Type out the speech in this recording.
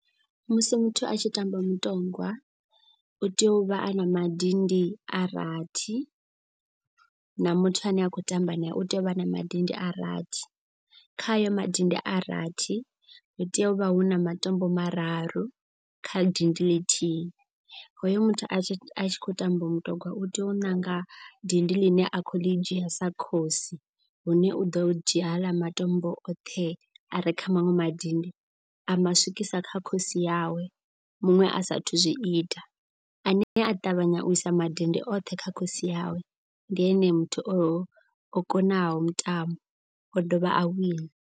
Musi muthu a tshi tamba mutongwa u tea u vha a na madindi a rathi na muthu ane a khou tamba nae. U tea u vha na madindi a rathi khayo madindi a rathi ri tea u vha hu na matombo mararu kha dindi ḽithihi. Hoyo muthu a tshi a tshi khou tamba mutogwa u tea u ṋanga dindi ḽine a khou ḽi dzhia sa khosi. Hune u ḓo dzhia haaḽa matombo oṱhe a re kha maṅwe madindi a ma swikisa kha khosi yawe. Muṅwe a saathu zwi ita ane a ṱavhanya u isa madindi oṱhe kha khosi yawe ndi ene muthu o o konaho mutambo o dovha a wina.